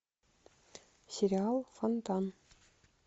сериал фонтан